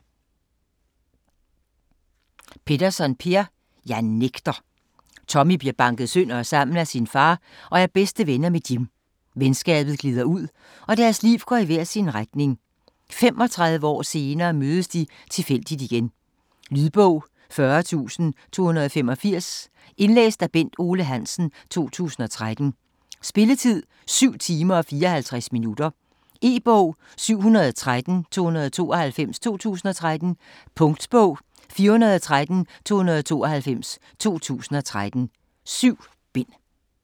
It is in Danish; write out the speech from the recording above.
Petterson, Per: Jeg nægter Tommy bliver banket sønder og sammen af sin far og er bedste venner med Jim. Venskabet glider ud, og deres liv går i hver sin retning. 35 år senere mødes de tilfældigt igen. Lydbog 40285 Indlæst af Bent Otto Hansen, 2013. Spilletid: 7 timer, 54 minutter. E-bog 713292 2013. Punktbog 413292 2013. 7 bind.